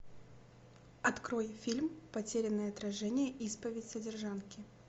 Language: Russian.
открой фильм потерянное отражение исповедь содержанки